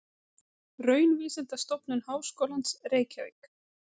Raunvísindastofnun Háskólans, Reykjavík.